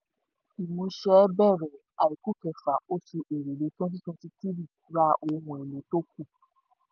ìmúṣẹ bẹ̀rẹ̀ àìkú kẹfà òṣù èrèlé wtenty twenty-three ra ohun ìní tó kù.